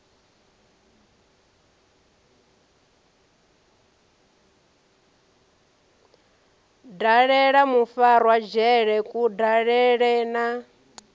dalela mufarwa dzhele kudalele na